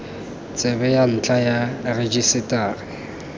tsebe ya ntlha ya rejisetara